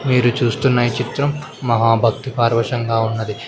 మీరు చూస్తున్న ఈ చిత్రం మహా భక్తిపార్వశంగా ఉన్నది.